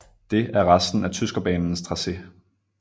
Det er resten af Tyskerbanens tracé